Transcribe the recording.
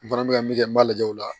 N fana bɛ ka min kɛ n b'a lajɛ o la